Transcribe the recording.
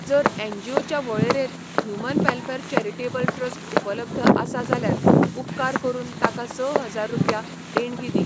जर एनजीओच्या वळेरेंत ह्यूमन वॅलफॅर चॅरिटेबल ट्रस्ट उपलब्ध आसा जाल्यार उपकार करून ताका स हजार रुपया देणगी दी.